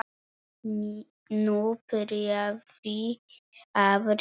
Nú byrjaði að rigna.